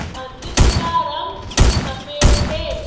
मस्जिद का रंग सफेद है।